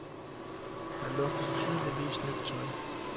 Der luftes tydeligvis nyt tøj.